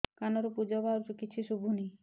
କାନରୁ ପୂଜ ବାହାରୁଛି କିଛି ଶୁଭୁନି